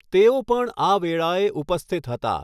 તેઓ પણ આ વેળાએ ઉપસ્થિત હતા.